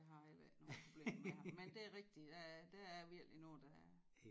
Jeg har heller ikke nogen problemer med ham men det rigtig der er der er virkelig nogen der er